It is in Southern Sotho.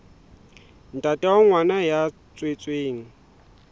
ntate wa ngwana ya tswetsweng